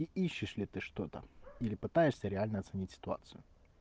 ищешь ли ты что-то или пытаешься реально оценить ситуацию